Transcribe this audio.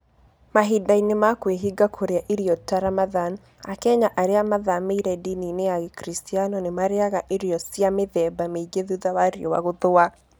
Mahinda-inĩ ma kwĩhinga kũrĩa irio ta Ramadhan, Akenya arĩa mathamĩire ndini-inĩ ya Gĩkristiano nĩ marĩĩaga irio cia mĩthemba mĩingĩ thutha wa riũa gũthũa.